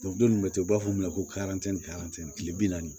don min bɛ ten u b'a fɔ min ma ko tile bi naani